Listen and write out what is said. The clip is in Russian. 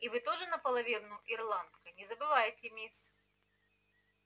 и вы тоже наполовину ирландка не забывайте мисс